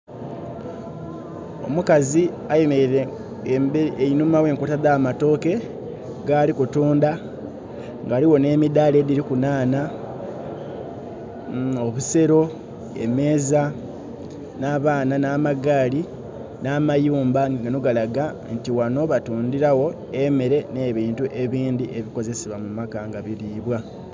Omukazi ayemeraile einuma w'enkota dh'amatooke, gaali kutunda nga ghaligho n'emidhala edhiriku nhanha, obusero, emeeza, n'abaana n'amagaali n'amayumba nga gano galaga nti ghano batundiragho emere nh'ebintu ebindhi ebikozesebwa mu maka nga biribwa.